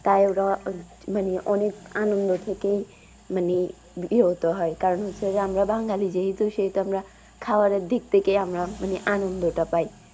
তাই ওরা মানে অনেক আনন্দ থেকেই মানে বিহত হয় কারণ হচ্ছে যে আমরা বাঙালি যেহেতু সেহেতু আমরা খাবারের দিক থেকে আমরা মানে আনন্দটা পাই।